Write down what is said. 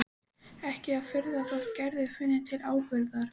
Ekki að furða þótt Gerður finni til ábyrgðar.